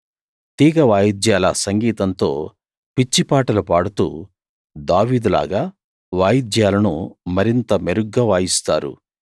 తీగ వాయిద్యాల సంగీతంతో పిచ్చిపాటలు పాడుతూ దావీదులాగా వాయిద్యాలను మరింత మెరుగ్గా వాయిస్తారు